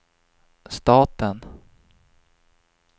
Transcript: staten